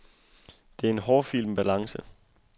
Det er en hårfin balance.